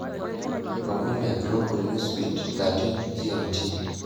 Lomon le Global Newsbeat 1300 GMT